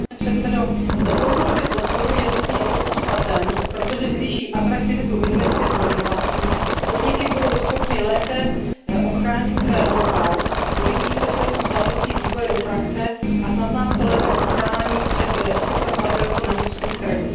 Pane předsedající, dlouhodobě podporuji jednotný evropský patent, protože zvýší atraktivitu investic do inovací, podniky budou schopny lépe ochránit své know how, urychlí se přesun znalostí z vývoje do praxe a snad nás to lépe ochrání před vstupem padělků na vnitřní trh.